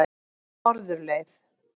Norðurleið